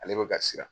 Ale bɛ ka siran